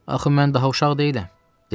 Axı mən daha uşaq deyiləm, dedi.